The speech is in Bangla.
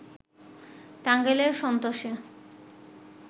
টাঙ্গাইলের সন্তোষে